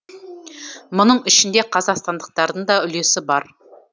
мұның ішінде қазақстандықтардың да үлесі бар